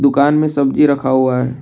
दुकान में सब्जी रखा हुआ है।